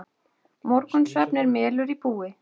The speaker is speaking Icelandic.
Morgunsvefn er melur í búi.